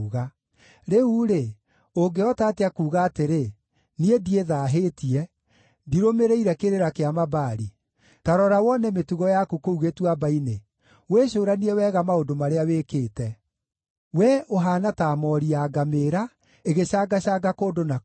“Rĩu-rĩ, ũngĩhota atĩa kuuga atĩrĩ: ‘Niĩ ndiĩthaahĩtie; ndirũmĩrĩire kĩrĩra kĩa Mabaali’? Ta rora wone mĩtugo yaku kũu gĩtuamba-inĩ; wĩcũũranie wega maũndũ marĩa wĩkĩte. Wee ũhaana ta moori ya ngamĩĩra ĩgĩcangacanga kũndũ na kũndũ,